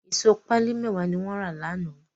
Ìṣó pálí mẹ́wàá ni wọ́n rà lánàá.